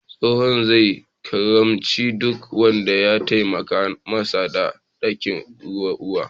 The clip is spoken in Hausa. Tsohon zai albarkaci duk wanda ya taimaka masa da ɗiban ruwa.